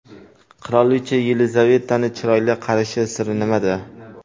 Qirolicha Yelizavetaning chiroyli qarishi siri nimada?.